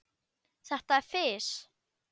Þetta er fis.